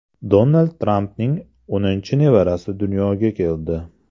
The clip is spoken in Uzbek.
Donald Trampning o‘ninchi nevarasi dunyoga keldi.